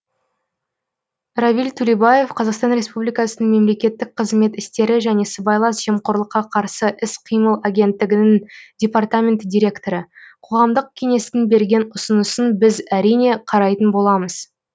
равиль тюлебаев қазақстан республикасының мемлекеттік қызмет істері және сыбайлас жемқорлыққа қарсы іс қимыл агенттігінің департамент директоры қоғамдық кеңестің берген ұсынысын біз әрине қарайтын боламыз